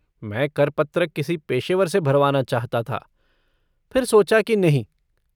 मैं कर पत्र किसी पेशेवर से भरवाना चाहता था, फिर सोचा की नहीं।